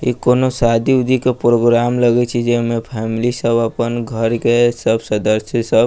इ कउनो शादी-उदी के प्रोग्राम लगइ छै जे में फैमली सब अपन घर के सब सदस्य सब --